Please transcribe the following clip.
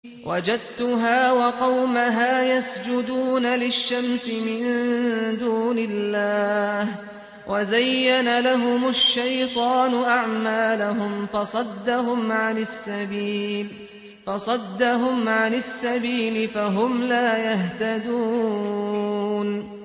وَجَدتُّهَا وَقَوْمَهَا يَسْجُدُونَ لِلشَّمْسِ مِن دُونِ اللَّهِ وَزَيَّنَ لَهُمُ الشَّيْطَانُ أَعْمَالَهُمْ فَصَدَّهُمْ عَنِ السَّبِيلِ فَهُمْ لَا يَهْتَدُونَ